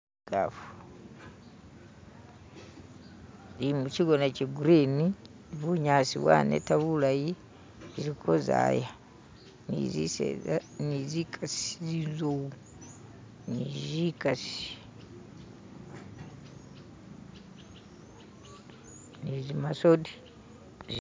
ikaafu ili muchigona che gurini bunyasi bwaneta bulayi ziliko zaya ni ziseza nizikasi zinzowu nizikasi nizi masodi